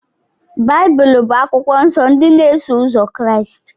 Baịbụl bụ akwụkwọ nsọ ndị na-eso ụzọ Kraịst.